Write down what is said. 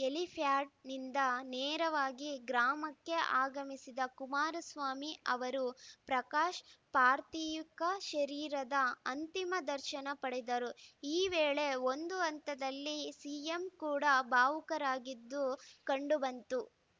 ಹೆಲಿಪ್ಯಾಡ್‌ನಿಂದ ನೇರವಾಗಿ ಗ್ರಾಮಕ್ಕೆ ಆಗಮಿಸಿದ ಕುಮಾರಸ್ವಾಮಿ ಅವರು ಪ್ರಕಾಶ್‌ ಪಾರ್ಥಿಕ ಶರೀರದ ಅಂತಿಮ ದರ್ಶನ ಪಡೆದರು ಈ ವೇಳೆ ಒಂದು ಹಂತದಲ್ಲಿ ಸಿಎಂ ಕೂಡ ಭಾವುಕರಾಗಿದ್ದೂ ಕಂಡು ಬಂತು